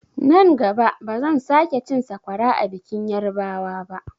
Nan gaba bazan sake cin sakwara a bikin yarbawa ba.